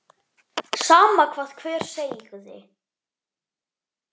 Sama hvað hver segði.